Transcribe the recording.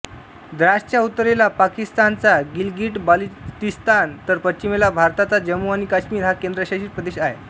द्रासच्या उत्तरेला पाकिस्तानचा गिलगिटबाल्टिस्तान तर पश्चिमेला भारताचा जम्मू आणि काश्मीर हा केंद्रशासित प्रदेश आहेत